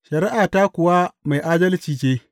Shari’ata kuwa mai adalci ce.